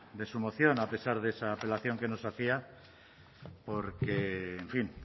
de su moción a pesar de esa apelación que nos hacía porque en fin